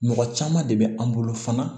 Mɔgɔ caman de bɛ an bolo fana